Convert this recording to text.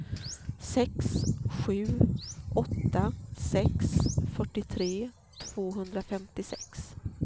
sex sju åtta sex fyrtiotre tvåhundrafemtiosex